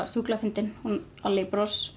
sjúklega fyndin hún